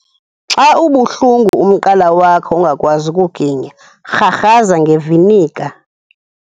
Xa ubuhlungu umqala wakho ungakwazi kuginya, rharhaza ngeviniga.